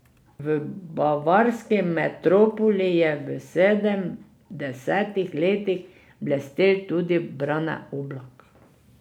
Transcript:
V bavarski metropoli je v sedemdesetih letih blestel tudi Brane Oblak.